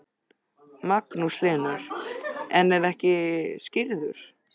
Magnús Hlynur: En er ekki skírður?